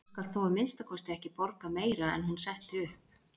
Þú skalt þó að minnsta kosti ekki borga meira en hún setti upp.